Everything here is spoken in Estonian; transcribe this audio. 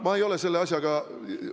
Ma ei ole selle asjaga ...